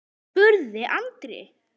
spurði Andri.